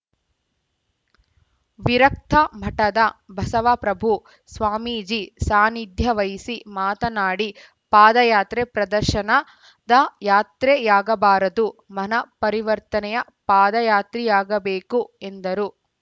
ವಿರಕ್ತಮಠದ ಬಸವಪ್ರಭು ಸ್ವಾಮೀಜಿ ಸಾನಿಧ್ಯವಹಿಸಿ ಮಾತನಾಡಿ ಪಾದಯಾತ್ರೆ ಪ್ರದರ್ಶನದ ಯಾತ್ರೆಯಾಗಬಾರದು ಮನಃ ಪರಿವರ್ತನೆಯ ಪಾದಯಾತ್ರೆಯಾಗಬೇಕು ಎಂದರು